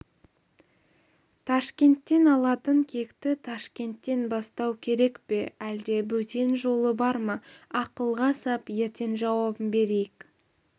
ташкенттен алатын кекті ташкенттен бастау керек пе әлде бөтен жолы бар ма ақылға сап ертең жауабын берейік